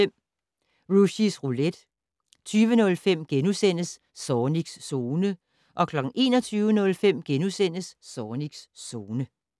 10:05: Rushys Roulette 20:05: Zornigs Zone * 21:05: Zornigs Zone *